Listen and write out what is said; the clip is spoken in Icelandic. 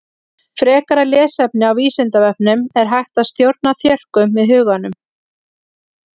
Frekara lesefni á Vísindavefnum Er hægt að stjórna þjörkum með huganum?